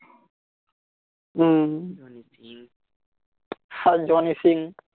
উম আর Johnny scene